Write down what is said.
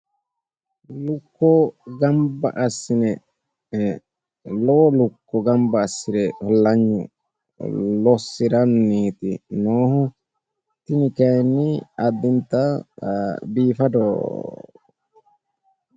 Lukuwa gamba asine lowu lukuwa gamba assire hallanyu lossiranniiti noohu tini kayinni adinta biifadoho.